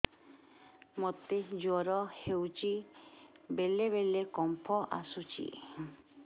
ମୋତେ ଜ୍ୱର ହେଇଚି ବେଳେ ବେଳେ କମ୍ପ ଆସୁଛି